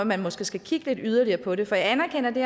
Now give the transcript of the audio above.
man måske skal kigge yderligere på det for jeg anerkender det